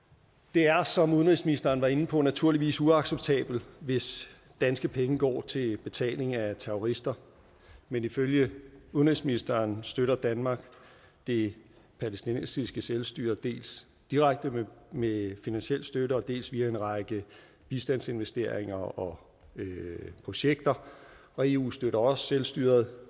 det er som udenrigsministeren var inde på naturligvis uacceptabelt hvis danske penge går til betaling af terrorister men ifølge udenrigsministeren støtter danmark det palæstinensiske selvstyre dels direkte med finansiel støtte dels via en række bistandsinvesteringer og projekter og eu støtter også selvstyret